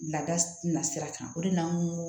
Lada na sira kan o de la n ko